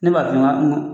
Ne b'a f'i ye n ko